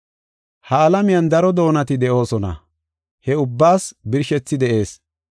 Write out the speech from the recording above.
Ha alamiyan daro doonati de7oosona; he ubbaas birshethi de7ees.